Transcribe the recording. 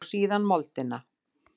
Og síðan moldina.